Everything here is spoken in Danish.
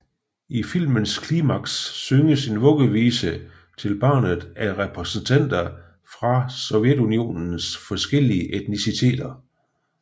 I filmens klimaks synges en vuggevise til barnet af repræsentanter fra Sovjetunionens forskellige etniciteter